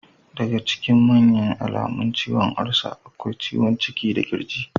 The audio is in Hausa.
Daga ciikin manya alamun ciwon olsa akwai ciwon ciki da kirji.